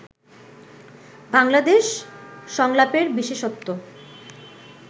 বাংলাদেশ সংলাপের বিশেষত্ব